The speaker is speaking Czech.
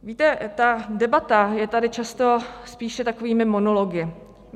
Víte, ta debata je tady často spíše takovými monology.